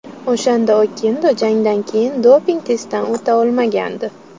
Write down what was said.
O‘shanda Okendo jangdan keyin doping testdan o‘ta olmagandi.